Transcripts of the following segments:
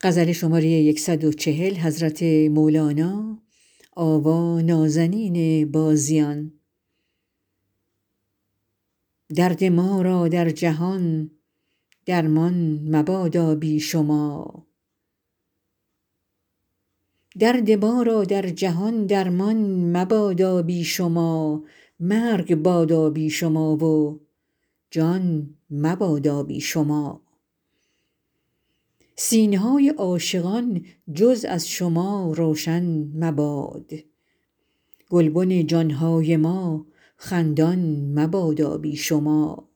درد ما را در جهان درمان مبادا بی شما مرگ بادا بی شما و جان مبادا بی شما سینه های عاشقان جز از شما روشن مباد گلبن جان های ما خندان مبادا بی شما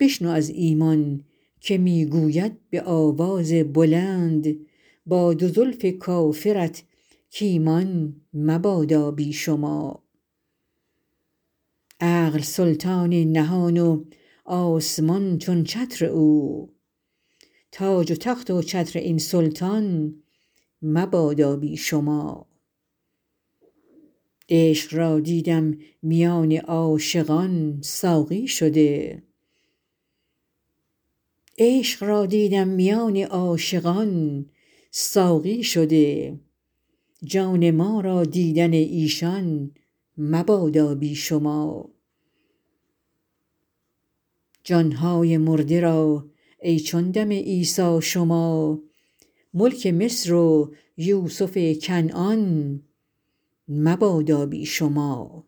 بشنو از ایمان که می گوید به آواز بلند با دو زلف کافرت کایمان مبادا بی شما عقل سلطان نهان و آسمان چون چتر او تاج و تخت و چتر این سلطان مبادا بی شما عشق را دیدم میان عاشقان ساقی شده جان ما را دیدن ایشان مبادا بی شما جان های مرده را ای چون دم عیسی شما ملک مصر و یوسف کنعان مبادا بی شما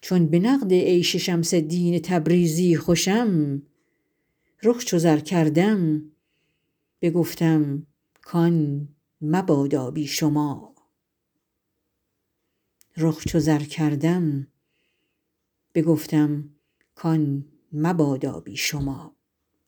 چون به نقد عشق شمس الدین تبریزی خوشم رخ چو زر کردم بگفتم کان مبادا بی شما